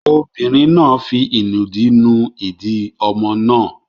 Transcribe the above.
Obìnrin náà fi ìnùdí nu ìdí ọmọ náà.